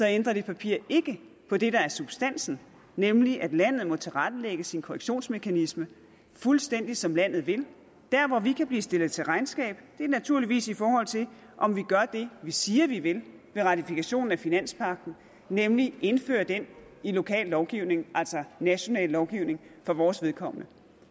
ændrer det papir ikke på det der er substansen nemlig at landet må tilrettelægge sin korrektionsmekanisme fuldstændig som landet vil der hvor vi kan blive stillet til regnskab er naturligvis i forhold til om vi gør det vi siger vi vil med ratifikationen af finanspagten nemlig indføre den i lokal lovgivning altså i national lovgivning for vores vedkommende